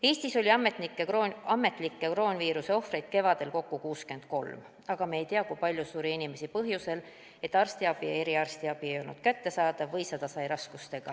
Eestis oli ametlikke kroonviiruse ohvreid kevadel kokku 63, aga me ei tea, kui palju suri inimesi põhjusel, et arstiabi ja eriarstiabi ei olnud kättesaadav või seda sai raskustega.